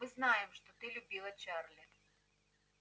мы знаем что ты любила чарли